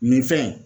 Nin fɛn in